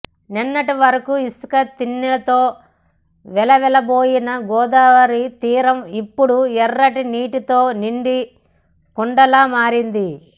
నిన్నటి వరకు ఇసుక తిన్నెలతో వెలవెలబోయిన గోదావరి తీరం ఇప్పుడు ఎర్రటి నీటితో నిండు కుండలా మారింది